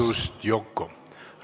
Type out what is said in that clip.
Vabandust, Yoko!